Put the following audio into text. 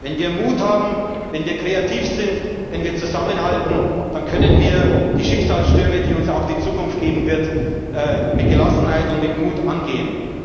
Wenn wir Mut haben, wenn wir kreativ sind, wenn wir zusammenhalten, dann können wir die Schicksalsstürme, die uns auch die Zukunft geben wird, mit Gelassenheit und mit Mut angehen.